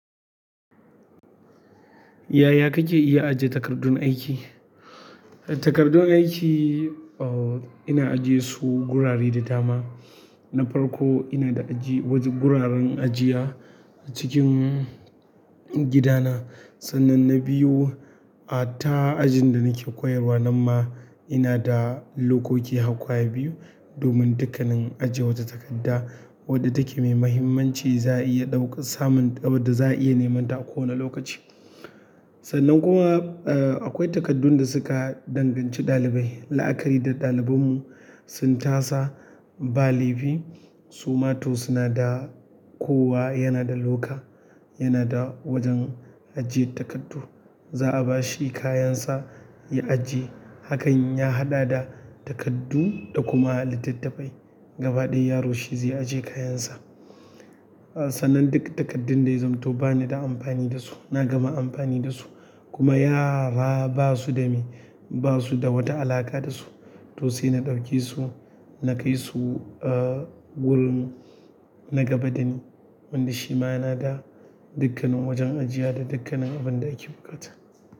Yaya kake iya ajiye takardun aiki? Takardun aiki, eh, ina ajiye su gurare da dama. Na farko ina da aji wajen guraren ajiya cikin gidana. Sannan na biyu, a ta ajin da nake koyarwa nan ma ina da lokoki har ƙwaya biyu domin dukan nan ajiwa wata takarda wanda ta ke da mahimmanci za a iya neman ta a ko wace lokaci. Sannan kuma, eh, akwai takardun da suka danganci ɗalibai. La'akari da ɗalibinmu sun tasa ba laifi, su ma to suna da kowa yana da loka, yana da wajen ajiye takardu. Za a ba shi kayansa ya ajiye. Hakan ya haɗa da takardu da kuma littattafai. Gaba ɗaya yaro shi zai ajiye kayansa. Eh, sannan duk takardun da ya zamanto bani da amfani da su, na gama amfani da su kuma yara ba su da me, ba su da wata alaƙa da su, to sai na ɗauke su na kai su, eh, wurin na gaba da ni wanda shi ma yana da dakkanin wajen ajiya da dakkanin abin da ake buƙata.